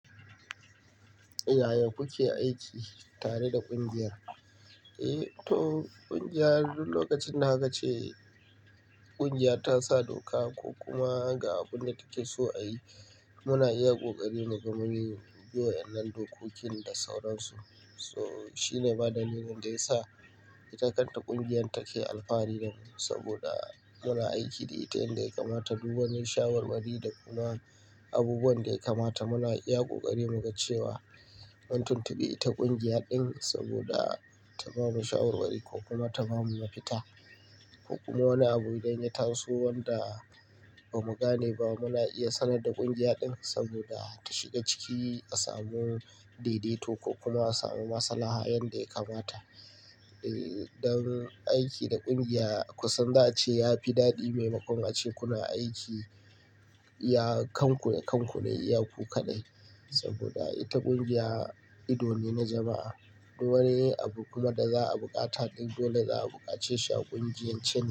Yaya kuke aiki tare da ƙungiyar? Eh, to ƙungiya duk lokacin da aka ce ƙungiya ta sa doka ko kuma ga abun da take so a yi, muna iya kokari muga mun yin juyar nan dokokin da sauransu. So shine bada ni gan da ya sa ita kanta ƙungiyar take alfahari nan saboda muna aiki da ita yadda ya kamata. Duk wani shawarwari da kuma abubuwan da ya kamata muna iya ƙoƙari mu ga cewa mun tuntubi ita ƙungiya din saboda ta bamu shawarwari ko kuma ta bamu mafita. Ko kuma wani abu idan ya taso wanda ba mu gane ba muna iya sanar da ƙungiya din saboda ta shiga ciki a samu daidaito ko kuma a samu maslaha yanda ya kamata. Eh, don aiki da ƙungiya kusan za a ce yafi daɗi maimakon a ce kuna aiki, iya kanku da kanku iya ku kadai saboda ita ƙungiya ido ne na jama'a. Duk wani abu kuma da za'a buƙata duk dole za'a buƙace shi a ƙungiyance.